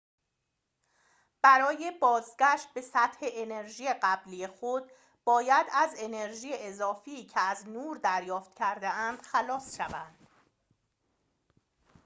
برای بازگشت به سطح انرژی قبلی خود باید از انرژی اضافی که از نور دریافت کرده‌اند خلاص شوند